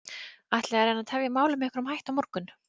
Ætlið þið að reyna að tefja málið með einhverjum hætti á morgun?